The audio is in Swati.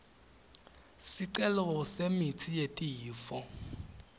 sicelo semitsi yetifo